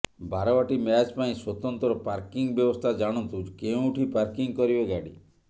Barabati match ପାଇଁ ସ୍ବତନ୍ତ୍ର parking ବ୍ୟବସ୍ଥା ଜାଣନ୍ତୁ କେଉଁଠି ପାର୍କିଂ କରିବେ ଗାଡି